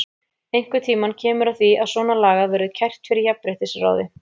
Einhvern tímann kemur að því að svona lagað verður kært fyrir jafnréttisráði.